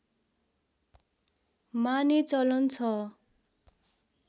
माने चलन छ